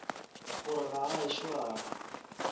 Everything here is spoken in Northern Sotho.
gore ga a ešo a